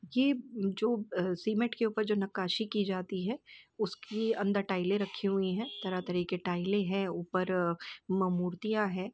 ये जो सीमेंट के ऊपर जो नक्काशी की जाती है उसके अंदर टाइले रखी हुई है तरह तरह की टाइले है ऊपर मां- मूर्तियां है।